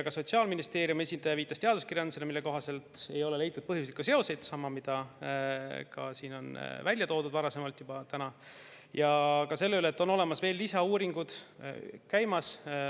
Ka Sotsiaalministeeriumi esindaja viitas teaduskirjandusele, mille kohaselt ei ole leitud siin põhjuslikke seoseid – seda on täna juba varasemalt välja toodud –, ja ka sellele, et lisauuringud on käimas.